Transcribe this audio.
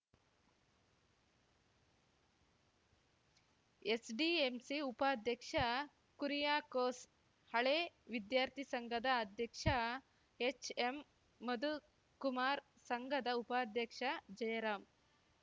SDMC ಉಪಾಧ್ಯಕ್ಷ ಕುರಿಯಾಕೋಸ್‌ ಹಳೇ ವಿದ್ಯಾರ್ಥಿ ಸಂಘದ ಅಧ್ಯಕ್ಷ ಎಚ್‌ಎಂಮಧುಕುಮಾರ್‌ ಸಂಘದ ಉಪಾಧ್ಯಕ್ಷ ಜಯರಾಂ